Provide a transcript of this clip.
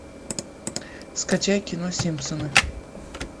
скачай кино симпсоны